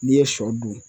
N'i ye sɔ dun